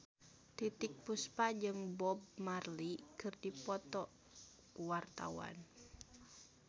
Titiek Puspa jeung Bob Marley keur dipoto ku wartawan